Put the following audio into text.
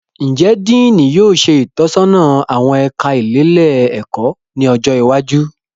Njẹ Diini yóò ṣe itọsọna awọn ẹka ilelé-ẹkọ ni ọjọ iwájú?